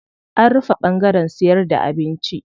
An rufe ɓangaren siyarda da abinci.